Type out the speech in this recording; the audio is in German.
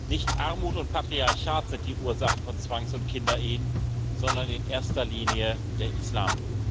Nicht Armut und Patriarchat sind die Ursachen von Zwangs und Kinderehen, sondern in erster Linie der Islam.